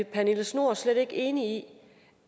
pernille schnoor slet ikke enig i